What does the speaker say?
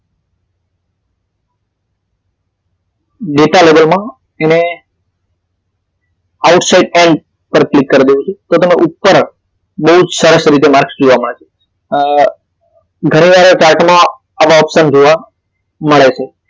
Data label માં એને outside end પર ક્લિક કરી દેવું છે તો તમે ઉપર બહુ જ સરસ રીતે માર્કસ જોવા મળે છે આહ ઘણી વાર chart માં આવા option જોવા મળે છે.